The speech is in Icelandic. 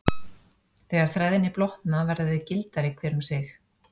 Þegar þræðirnir blotna verða þeir gildari hver um sig.